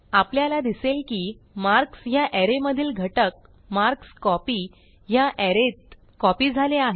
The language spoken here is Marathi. आपल्याला दिसेल की मार्क्स ह्या अरे मधील घटक मार्कस्कोपी ह्या अरे त कॉपी झाले आहेत